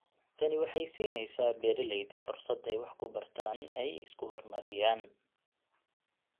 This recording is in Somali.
Tani waxay siinaysaa beeralayda fursad ay wax ku bartaan oo ay horumariyaan.